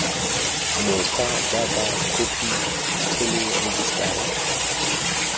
mokgwa jaaka khophi kgolo rejisetara